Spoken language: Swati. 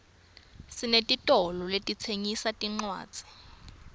sinetitolo letitsengisa tincwadzi